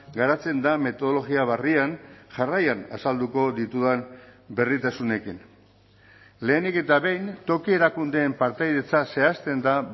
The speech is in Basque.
garatzen da metodologia berrian jarraian azalduko ditudan berritasunekin lehenik eta behin toki erakundeen partaidetza zehazten da